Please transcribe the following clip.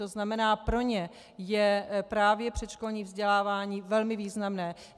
To znamená, pro ně je právě předškolní vzdělávání velmi významné.